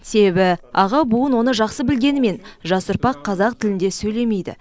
себебі аға буын оны жақсы білгенімен жас ұрпақ қазақ тілінде сөйлемейді